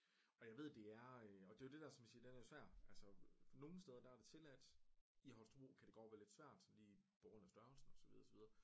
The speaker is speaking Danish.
Og jeg ved det er øh og det er jo det der som vi siger den er jo svær altså nogle steder der er det tilladt i Holstebro kan det godt være lidt svært lige på grund af størrelsen og så videre og så videre